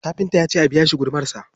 Kafinta ya ce a biya shi gudumarsa.